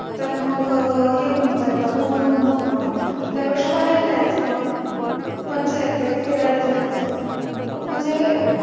तर मग हे होऊन जातं बोर होऊन जातात त्यापेक्षा बाहेर जायचं मज्जा येते फिरायला जायचं म्हणजे